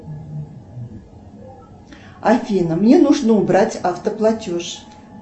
афина мне нужно убрать автоплатеж